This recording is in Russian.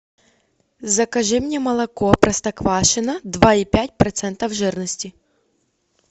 закажи мне молоко простоквашино два и пять процентов жирности